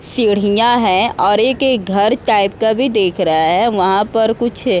सीढ़ीयां हैं और एक-एक घर टाइप का भी दिख रहा है वहाँ पर कुछ --